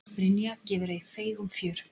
Brynja gefur ei feigum fjör.